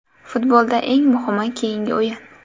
Futbolda eng muhimi keyingi o‘yin.